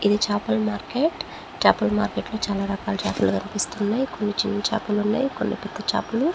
ఇది చేపల మార్కెట్ చేపల మార్కెట్ లో చాలా రకాల చేపలు కనిపిస్తున్నాయి కొన్ని చిన్న చేపలున్నాయి కొన్ని పెద్ద చేపలు--